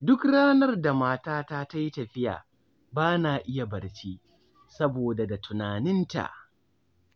Duk ranar da matata ta yi tafiya, ba na iya barci, saboda da tunaninta